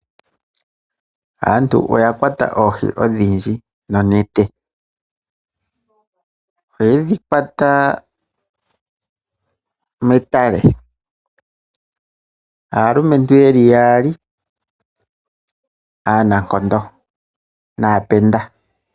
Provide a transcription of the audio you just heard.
Aantu oya kwata oohi odhindji nonete, oye dhi kwata metale, aalumentu yeli yaali aanankondo naaapenda.